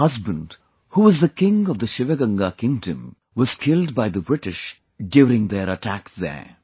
Her husband, was killed by the British during their attack on the Sivagangai kingdom, who was the king there